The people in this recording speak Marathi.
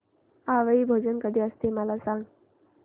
आवळी भोजन कधी असते मला सांग